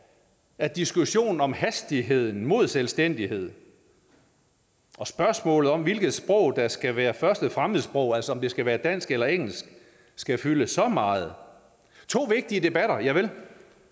at diskussionen om hastigheden mod selvstændighed og spørgsmålet om hvilket sprog der skal være første fremmedsprog altså om det skal være dansk eller engelsk skal fylde så meget to vigtige debatter javel